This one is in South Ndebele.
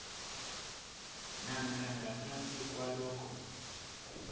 namkha ngaphasi kwalokho